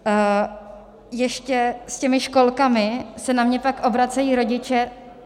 Ještě - s těmi školkami se na mě pak obracejí rodiče.